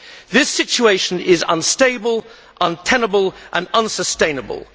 This situation is unstable, untenable and unsustainable.